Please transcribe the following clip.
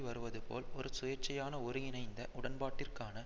வருவதுபோல் ஒரு சுயேட்சியான ஒருங்கிணைந்த உடன்பாட்டிற்கான